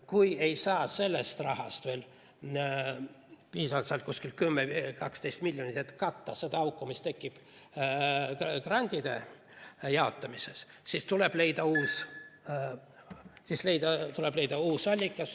Kui sellest rahast ei saa piisavalt, 10–12 miljonit, et katta seda auku, mis tekib grantide jaotamises, siis tuleb leida uus allikas.